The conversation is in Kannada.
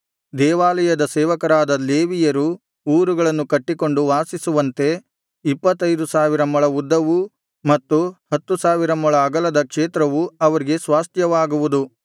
ದೇವಾಲಯದ ಸೇವಕರಾದ ಲೇವಿಯರು ಊರುಗಳನ್ನು ಕಟ್ಟಿಕೊಂಡು ವಾಸಿಸುವಂತೆ ಇಪ್ಪತ್ತೈದು ಸಾವಿರ ಮೊಳ ಉದ್ದವೂ ಮತ್ತು ಹತ್ತು ಸಾವಿರ ಮೊಳ ಅಗಲದ ಕ್ಷೇತ್ರವು ಅವರಿಗೆ ಸ್ವಾಸ್ತ್ಯವಾಗುವುದು